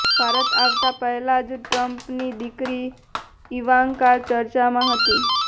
ભારત આવતાં પહેલા જ ટ્રમ્પની દીકરી ઈવાંકા ચર્ચામાં હતી